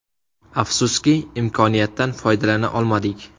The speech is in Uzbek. Afsuski, imkoniyatdan foydalana olmadik.